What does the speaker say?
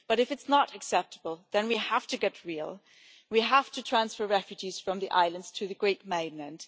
But if it is not acceptable, then we have to get real, we have to transfer refugees from the islands to the Greek mainland.